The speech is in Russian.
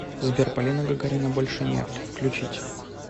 сбер полина гагарина больше нет включить